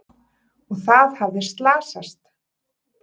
Og það hafði slasast!